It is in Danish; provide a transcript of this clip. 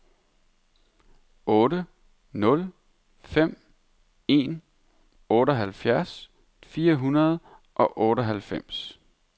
otte nul fem en otteoghalvfjerds fire hundrede og otteoghalvfems